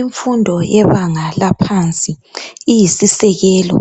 Imfundo yebanga laphansi iyisisekelo ,